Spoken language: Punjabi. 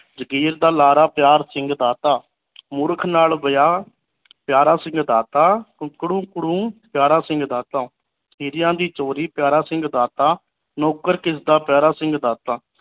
ਜਾਗੀਰ ਦਾ ਲਾਰਾ ਪਿਆਰ ਸਿੰਘ ਦਾਤਾ ਮੂਰਖ ਨਾਲ ਵਿਆਹ ਪਿਆਰਾ ਸਿੰਘ ਦਾਤਾ ਕੁਕ ਰਕ ਰੂੰ ਪਿਆਰਾ ਸਿੰਘ ਦਾਤਾ ਹੀਰਿਆਂ ਦੀ ਚੋਰੀ ਪਿਆਰਾ ਸਿੰਘ ਦਾਤਾ ਨੌਕਰ ਕਿਸਦਾ ਪਿਆਰਾ ਸਿੰਘ ਦਾਤਾ